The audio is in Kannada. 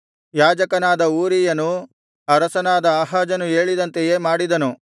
ಯಾಜಕನಾದ ಊರೀಯನು ಅರಸನಾದ ಆಹಾಜನು ಹೇಳಿದಂತೆಯೇ ಮಾಡಿದನು